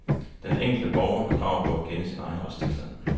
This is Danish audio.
Den enkelte borger har krav på at kende sin egen retstilstand.